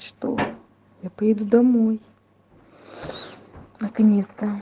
что я поеду домой наконец-то